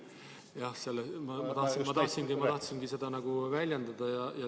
Jah, ma tahtsingi just seda väljendada.